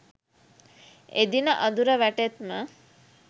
එදින අඳුර වැටෙත්ම